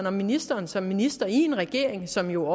om ministeren som minister i en regering som jo